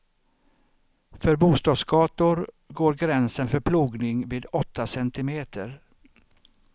För bostadsgator går gränsen för plogning vid åtta centimeter.